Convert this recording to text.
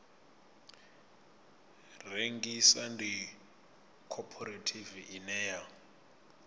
rengisa ndi khophorethivi ine ya